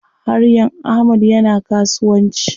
Haryan Ahmad yana kasuwanci.